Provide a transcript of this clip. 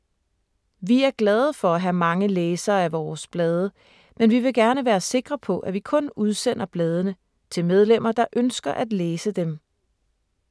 Vi er glade for at have mange læsere af vores blade, men vi vil gerne være sikre på, at vi kun udsender bladene til medlemmer, der ønsker at læse dem.